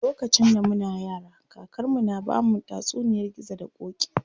Lokacin da muna yara, kakar mu na bamu tatsuniyar gizo da ƙoƙi.